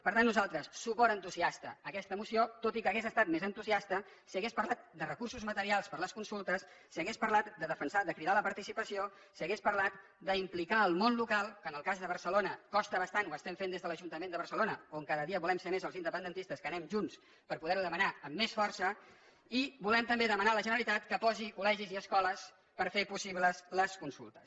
per tant nosaltres suport entusiasta a aquesta moció tot i que hauria estat més entusiasta si hagués parlat de recursos materials per a les consultes si hagués parlat de defensar de cridar a la participació si hagués parlat d’implicar el món local que en el cas de barcelona costa bastant ho estem fent des de l’ajuntament de barcelona on cada dia volem ser més els independentistes que anem junts per poder ho demanar amb més força i volem també demanar a la generalitat que posi col·legis i escoles per fer possibles les consultes